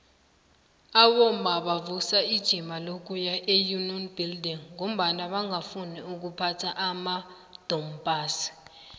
abomma bavusa ijima lokuya eunion buildings ngombana bangafuni ukuphatha amadompass